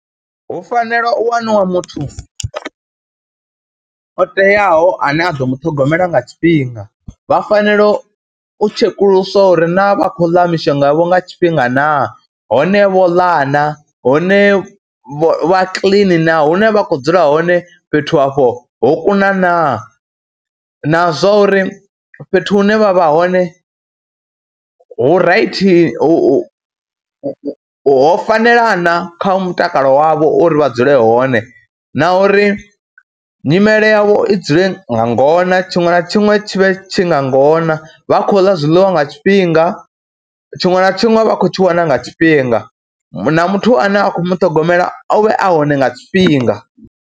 Hu fanela u waniwa muthu o teaho ane a ḓo mu ṱhogomela nga tshifhinga, vha fanela u tshekuluswa uri naa vha khou ḽa mishonga yavho nga tshifhinga naa, hone vho ḽa na, hone vha kiḽini naa, hune vha khou dzula hone fhethu afho ho kuna naa na zwa uri fhethu hune vha vha hone hu raithi, hu ho fanela na kha mutakalo wavho uri vha dzule hone, na uri nyimele yavho i dzule nga ngona, tshiṅwe na tshiṅwe tshi vhe tshi nga ngona, vha khou ḽa zwiḽiwa nga tshifhinga, tshiṅwe na tshiṅwe vha khou tshi wana nga tshifhinga na muthu ane a khou mu ṱhogomela a vhe a hone nga tshifhinga.